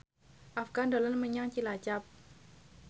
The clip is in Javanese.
Afgan dolan menyang Cilacap